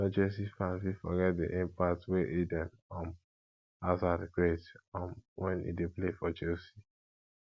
no chelsea fan fit forget di impact wey eden um harzard create um when e dey play for chelsea